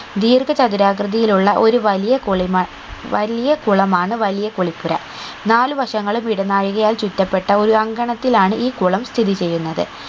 ദീർഘ ചതുരാകൃതിയിലുള്ള ഒരു വലിയ കുളിമ വലിയ കുളമാണ് വലിയ കുളിപ്പുര നാലുവശങ്ങളും ഇടനായികയാൽ ചുറ്റപ്പെട്ട ഒരു അങ്കണത്തിലാണ് ഈ കുളം സ്ഥിതി ചെയ്യുന്നത്